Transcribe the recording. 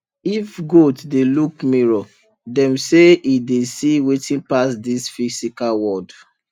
if goat dey look mirror dem say e dey see wetin pass this physical world